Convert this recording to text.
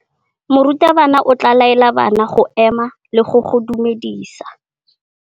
Morutabana o tla laela bana go ema le go go dumedisa.